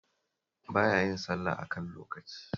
Ba ya yin sallah a kan lokaci